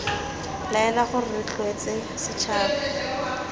laela gore re rotloetse setšhaba